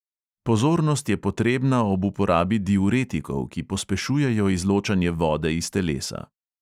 Pozornost je potrebna ob uporabi diuretikov, ki pospešujejo izločanje vode iz telesa.